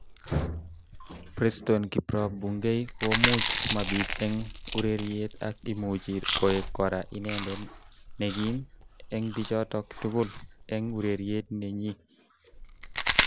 Preston kiprop Bungei komuch mabit eng ureriet ak imuchi koek kora inendet nekim eng bichotok tugul eng urereit nenyi.